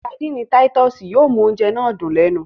Sárḍíńí Títùsí yóò mu ọ̀unjẹ́ náà dún lẹ́nu.